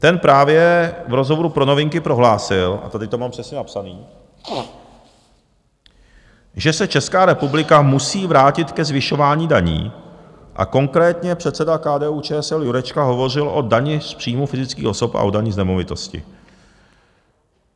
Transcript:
Ten právě v rozhovoru pro Novinky prohlásil, a tady to mám přesně napsaný, že se Česká republika musí vrátit ke zvyšování daní, a konkrétně předseda KDU-ČSL Jurečka hovořil o dani z příjmů fyzických osob a o dani z nemovitosti.